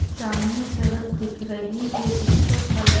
सामने सड़क दिख रही है जिसका कलर --